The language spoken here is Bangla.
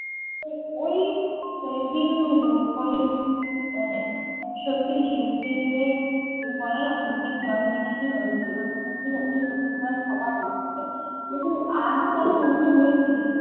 ওই দিনগুলো ওই মানে সত্যি শেষ দিনের বলেনা চোখের জল বেরিয়েছিল ওই শেষ দিন কে যতই চোখের জল সবার এসেছিল কিন্তু আজও তারা বন্ধু রয়েছে কিন্তু